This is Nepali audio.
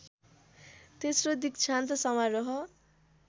तेश्रो दिक्षान्त समारोह